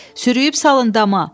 Sürüyüb salın dama!